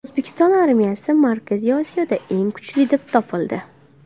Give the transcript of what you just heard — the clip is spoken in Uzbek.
O‘zbekiston armiyasi Markaziy Osiyoda eng kuchli deb topildi.